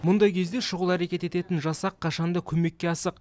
мұндай кезде шұғыл әрекет ететін жасақ қашан да көмекке асық